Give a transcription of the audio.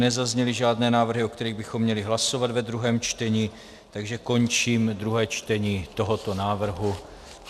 Nezazněly žádné návrhy, o kterých bychom měli hlasovat ve druhém čtení, takže končím druhé čtení tohoto návrhu.